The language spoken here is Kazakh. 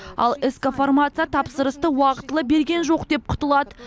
ал ск фармация тапсырысты уақытылы берген жоқ деп құтылады